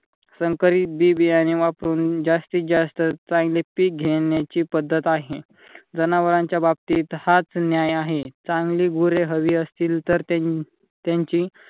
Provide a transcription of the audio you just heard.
संकरित बी बियाणे वापरून जास्तीत जास्त चांगले पीक घेण्याची पद्धत आहे. जनावरांच्या बाबतीत हाच न्याय आहे. चांगली गुरे हवी असतील तर त्यांची